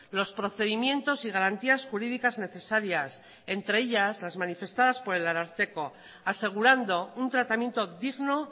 los procedimientos y garantías jurídicas necesarias entre ellas las manifestadas por el ararteko asegurando un tratamiento digno